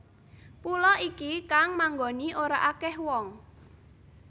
Pulo iki kang manggoni ora akih wong